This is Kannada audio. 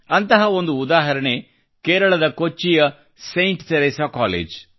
ಅಂತಹ ಒಂದು ಉದಾಹರಣೆ ಕೇರಳದ ಕೊಚ್ಚಿಯ ಸೇಂಟ್ತೆರೇಸಾ ಕಾಲೇಜು